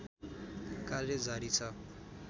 कार्य जारी छ